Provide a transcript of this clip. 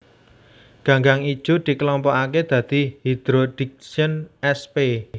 Ganggang ijo dikelompokaké dadi Hydrodiction sp